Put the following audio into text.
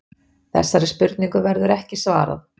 Þessari spurningu verður ekki svarað.